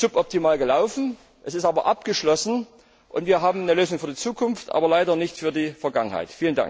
Es ist suboptimal gelaufen, es ist aber abgeschlossen und wir haben eine Lösung für die Zukunft aber leider nicht für die Vergangenheit.